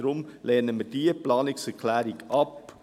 Deswegen lehnen wir diese Planungserklärung ab.